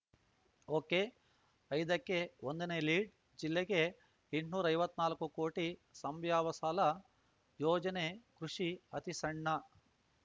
ಒಕೆಐದಕ್ಕೆ ಒಂದನೇ ಲೀಡ್‌ಜಿಲ್ಲೆಗೆ ಎಂಟ್ನೂರ್ ಐವತ್ ನಾಲ್ಕು ಕೋಟಿ ಸಂಬ್ಯಾವ್ಯ ಸಾಲ ಯೋಜನೆ ಕೃಷಿ ಅತಿಸಣ್ಣ